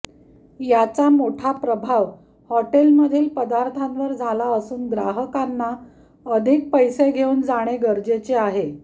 याचा मोठा प्रभाव हॉटेलमधील पदार्थांवर झाला असून ग्राहकांना अधिक पैसे घेऊन जाणे गरजेचे आहे